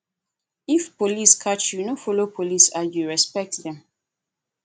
if police catch you no follow police argue respect dem